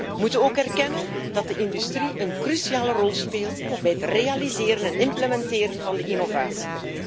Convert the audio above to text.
We moeten ook erkennen dat de industrie een cruciale rol speelt bij het realiseren en implementeren van innovatie.